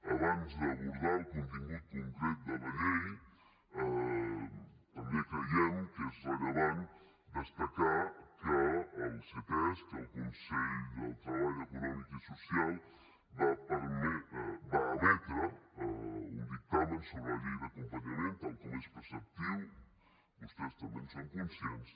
abans d’abordar el contingut concret de la llei també creiem que és rellevant destacar que el ctesc el consell de treball econòmic i social va emetre un dictamen sobre la llei d’acompanyament tal com és preceptiu vostès també en són conscients